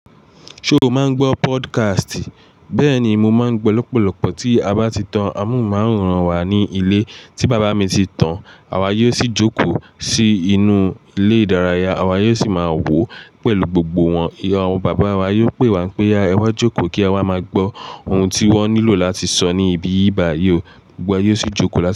Ṣo máa ń gbọ́ podcast? Bẹ́ẹ̀ ni, mo máa ń gbọ́ lọ́pọ̀lọpọ̀ tí a bá ti tan amóhùnmáwòrán wá ní ilé. Tí bàbá mi ti tan, àwa yóò sì jókòó sí inú ilé-ìdárayá. Àwa yóò sì máa wò ó pẹ̀lú gbogbo wọn. Àwọn bàbá wa yóò pè wá pé "oya Ẹ wá jókòó kí e wa máa gbọ́ ohun tí wọ́n nílò láti sọ ní ibi báyi ò." Gbogbo wa yóò sì jókòó lá.